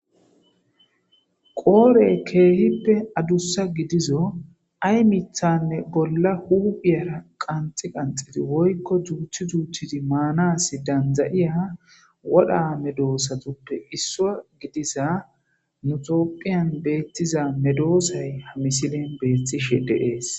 Qoore bollara keehippe adussa giddizo ayi mithanne bolla huphiyara ganixxi ganixxi danidayiya wora medosatuppe issuwa giddiyaza nu topiyan betiza medosayi ha misilen beetishe dees.